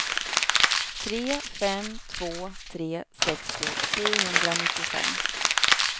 tre fem två tre sextio sjuhundranittiofem